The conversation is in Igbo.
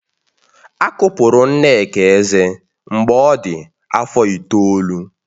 A kụpụrụ Nneka eze mgbe ọ dị afọ itoolu